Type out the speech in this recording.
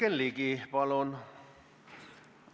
Jürgen Ligi, palun!